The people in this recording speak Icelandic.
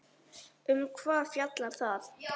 Um hvað fjallar það?